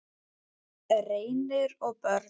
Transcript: Reynir og börn.